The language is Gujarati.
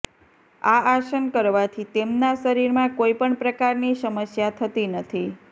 આ આસન કરવાથી તેમના શરીરમાં કોઈ પણ પ્રકારની સમસ્યા થતી નથી